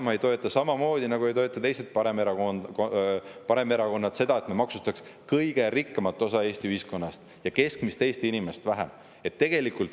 Isamaa nagu ka teised paremerakonnad ei toeta seda, et me maksustaks kõige rikkamat osa Eesti ühiskonnast ja keskmist Eesti inimest vähem.